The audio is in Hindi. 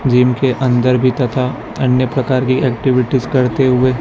जिम के अंदर भी तथा अन्य प्रकार की एक्टिविटीज करते हुए--